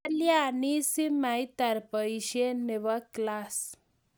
kalianin si maitar boisie nebo klass